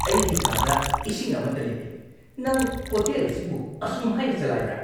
ꯑꯩꯒꯤ ꯀꯥꯗ ꯏꯁꯤꯡ ꯑꯃꯠꯇ ꯂꯩꯇꯦ! ꯅꯪ ꯍꯣꯇꯦꯜ ꯑꯁꯤꯕꯨ ꯑꯁꯨꯝ ꯍꯥꯏꯅ ꯆꯂꯥꯢꯕ꯭ꯔ?